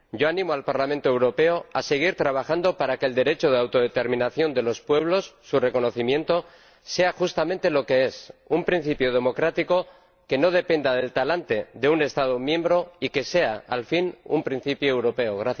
Yo animo al Parlamento Europeo a seguir trabajando para que el derecho de autodeterminación de los pueblos, su reconocimiento, sea justamente lo que es un principio democrático que no dependa del talante de un Estado miembro y que sea, al fin, un principio europeo.